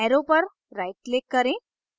arrow पर right click करें